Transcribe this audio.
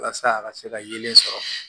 Walasa a ka se ka yelen sɔrɔ